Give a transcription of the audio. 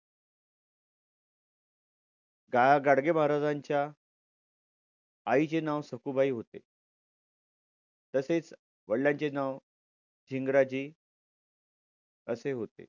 गाडगे महाराजांच्या आईचे नाव सखुबाई होते. तसेच वडिलांचे नाव झिंगराजे असे होते.